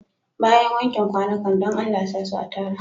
Bayan wanken kwanukan, dan Allah sa su a tara.